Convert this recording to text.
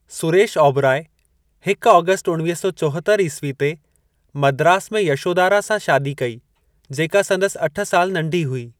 सुरेश ओबराई हिक आगस्ट उणिवीह सौ चोहतरि ईस्वी ते मद्रास में यशोदारा सां शादी कई जेका संदसि अठ साल नंढी हुई।